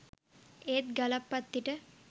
ඒත් ගලප්පත්තිට